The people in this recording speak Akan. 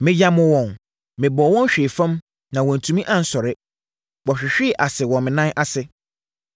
Meyamoo wɔn, mebɔɔ wɔn hwee fam, na wɔantumi ansɔre; wɔhwehwee ase wɔ me nan ase.